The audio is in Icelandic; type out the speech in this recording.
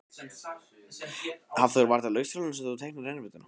Hafþór: Var þetta á leikskólanum sem að þú teiknaðir rennibrautina?